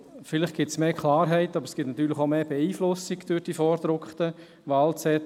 Vielleicht führt dies zu mehr Klarheit, aber natürlich ist die Beeinflussung durch die vorgedruckten Wahlzettel grösser.